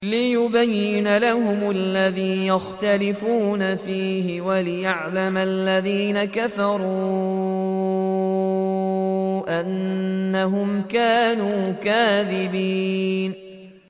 لِيُبَيِّنَ لَهُمُ الَّذِي يَخْتَلِفُونَ فِيهِ وَلِيَعْلَمَ الَّذِينَ كَفَرُوا أَنَّهُمْ كَانُوا كَاذِبِينَ